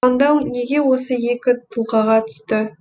таңдау неге осы екі тұлғаға түсті